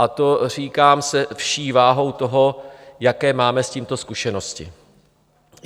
A to říkám se vší váhou toho, jaké máme s tímto zkušenosti.